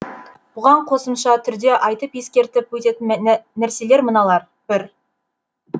бұған қосымша түрде айтып ескертіп өтетін нәрселер мыналар бір